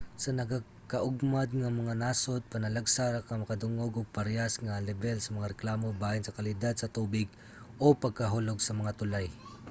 sa nagakaugmad nga mga nasod panalagsa ra ka makadungog og parehas nga lebel sa mga reklamo bahin sa kalidad sa tubig o pagkahulog sa mga tulay